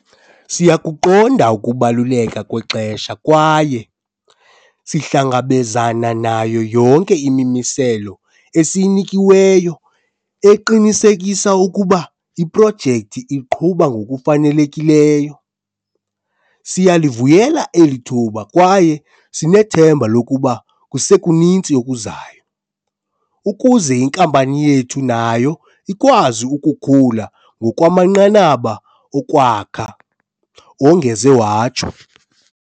"Siyakuqonda ukubaluleka kwexesha kwaye sihlangabezana nayo yonke imimiselo esiyinikiweyo eqinisekisa ukuba iprojekthi iqhuba ngokufanele kileyo. Siyalivuyela eli thuba kwaye sinethemba lokuba kusekuninzi okuzayo, ukuze inkampani yethu nayo ikwazi ukukhula ngokwamanqanaba okwakha," wongeze watsho.